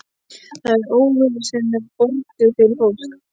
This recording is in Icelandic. Það er óvera sem er borguð fyrir fólk.